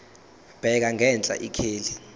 bheka ngenhla ikheli